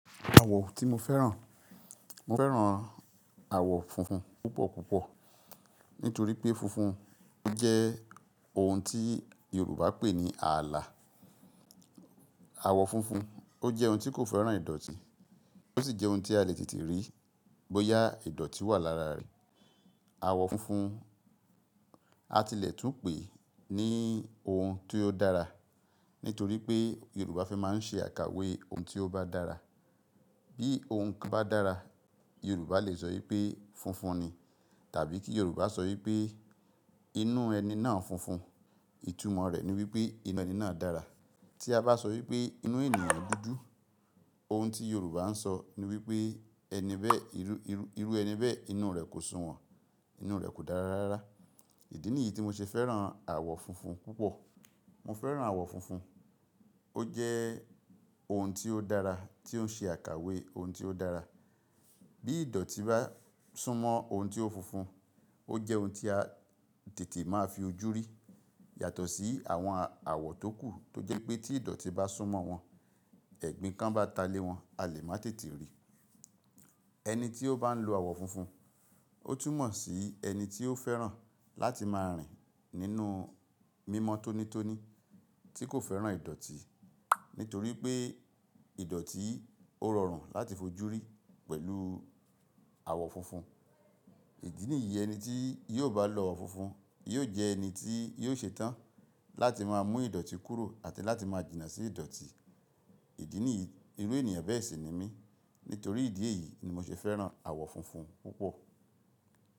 Àwọ̀ tí mo fẹ́ràn, mo fẹ́ràn àwọ̀ funfun púpọ̀púpọ̀ nítorí pé funfun ó jẹ́ ohun tí Yorùbá pe ní ààlà. Àwọ̀ funfun ó jẹ́ ohun tí kò fẹ́ràn ìdọ̀tí, ó sì jẹ́ ohun tí a le tètè rí bóyá ìdọ̀tí wà lára rẹ̀. Àwọ̀ funfun a tilẹ̀ tún pè ní ohun tí ó dára, nítorí pé Yorùbá fẹ́ máa ń ṣe àkàwé ohun tí ó bá dára. Bí ohun kan bá dára, Yorùbá lè sọ wípé funfun ni, tàbí kí Yorùbá sọ wípé inú ẹni náà funfun, ìtumọ̀ rẹ̀ ni wípé inú ẹni náà dára. Tí a bá sọ wípé inú ènìyàn dúdú, ohun tí Yorùbá ń sọ ni wípé ẹni bẹ́ẹ̀, irú, irú, irú ẹni bẹ́ẹ̀, inú rẹ̀ kò sùnwọ̀n, inú rẹ̀ kò dára rárá. Ìdí nìyí tí mo ṣe fẹ́ràn àwọ̀ funfun púpọ̀. Mo fẹ́ràn àwọ̀ funfun. Ó jẹ́ ohun tí ó dára, tí ó ń ṣe àkàwé ohun tí ó dára. Bí ìdọ̀tí bá súnmọ́ ohun tí ó funfun, ó jẹ́ ohun tí a tètè máa fi ojú rí. Yàtọ̀ sí àwọn àwọ̀ tókù tó jẹ́ pé tí ìdọ̀tí bá súnmọ́ wọn, ẹ̀gbin kan bá ta lé wọn, a lè má tètè rí. Ẹni tí ó bá ń lo àwọ̀ funfun, ó túmọ̀ sí ẹni tí ó fẹ́ràn láti máa rìn nínú mímọ́ tónítóní tí kò fẹ́ràn ìdọ̀tí, nítorí pé ìdọ̀tí ó rọrùn láti fojú rí pẹ̀lú àwọ̀ funfun. Ìdí nìyí ẹni tí yóò bá lo àwọ̀ funfun yóò jẹ́ ẹni tí yóò ṣe tán láti máa mú ìdọ̀tí kúrò àti láti máa jìnnà sí ìdọ̀tí. Ìdí nìyí, irú ènìyàn bẹ́ẹ̀ sì ni mí. Nítorí ìdí èyí ni mo ṣe fẹ́ràn àwọ̀ funfun púpọ̀.